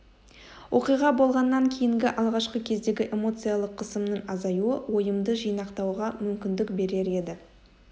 оқиға болғаннан кейінгі алғашқы кездегі эмоциялық қысымның азаюы ойымды жинақтауға мүмкіндік берер еді